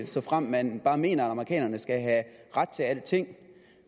såfremt man bare mener at amerikanerne skal have ret til alting